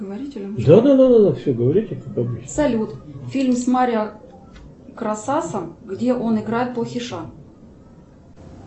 салют фильм с марио красасом где он играет плохиша